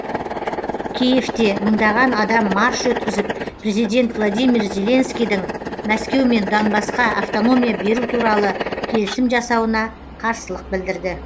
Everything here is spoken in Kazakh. киевте мыңдаған адам марш өткізіп президент владимир зеленскийдің мәскеумен донбассқа автономия беру туралы келісім жасауына қарсылық білдірді